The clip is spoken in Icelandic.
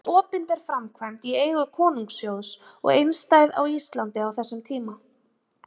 Þetta var opinber framkvæmd í eigu konungssjóðs og einstæð á Íslandi á þessum tíma.